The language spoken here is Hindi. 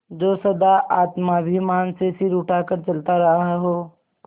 जो सदा आत्माभिमान से सिर उठा कर चलता रहा हो